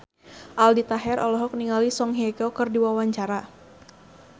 Aldi Taher olohok ningali Song Hye Kyo keur diwawancara